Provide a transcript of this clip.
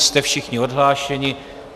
Jste všichni odhlášeni.